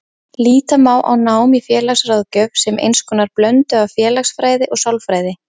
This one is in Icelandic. Líta má á nám í félagsráðgjöf sem eins konar blöndu af félagsfræði og sálfræði.